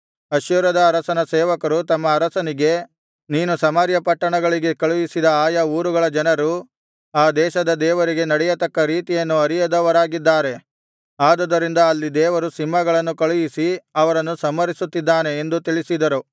ಅಶ್ಶೂರದ ಅರಸನ ಸೇವಕರು ತಮ್ಮ ಅರಸನಿಗೆ ನೀನು ಸಮಾರ್ಯ ಪಟ್ಟಣಗಳಿಗೆ ಕಳುಹಿಸಿದ ಆಯಾ ಊರುಗಳ ಜನರು ಆ ದೇಶದ ದೇವರಿಗೆ ನಡೆಯತಕ್ಕ ರೀತಿಯನ್ನು ಅರಿಯದವರಾಗಿದ್ದಾರೆ ಆದುದರಿಂದ ಅಲ್ಲಿ ದೇವರು ಸಿಂಹಗಳನ್ನು ಕಳುಹಿಸಿ ಅವರನ್ನು ಸಂಹರಿಸುತ್ತಿದ್ದಾನೆ ಎಂದು ತಿಳಿಸಿದರು